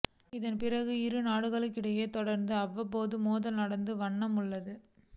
இதன் பிறகு இருநாடுகளிடையே தொடர்ந்து அவ்வப்போது மோதல்கள் நடந்த வண்ணம் உள்ளன